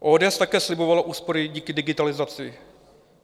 ODS také slibovala úspory díky digitalizaci.